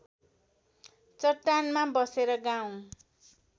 चट्टानमा बसेर गाउँ